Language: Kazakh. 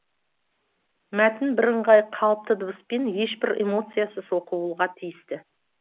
мәтін бірыңғай қалыпты дыбыспен ешбір эмоциясыз оқылуға тиісті